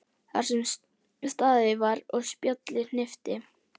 Þar sem staðið var og spjallað hnippti